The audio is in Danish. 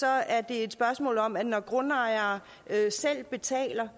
er det et spørgsmål om at når grundejere selv betaler